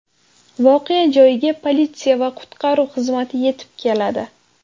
Voqea joyiga politsiya va qutqaruv xizmati yetib keladi.